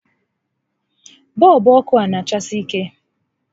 Bọọlbụ ọkụ a a na achasi ike?